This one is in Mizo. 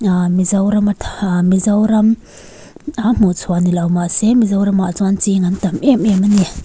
ahhh mizorama tha mizoram a hmuhchhuah ni lo mahse mizoramah chuan ching an tam em em ani.